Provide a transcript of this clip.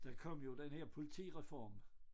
Der kom jo den her politireform